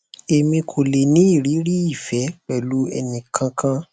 emi ko le ni iriri ife pelu eni kan kan